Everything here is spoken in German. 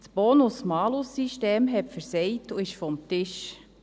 Das Bonus-Malus-System hat versagt und ist vom Tisch.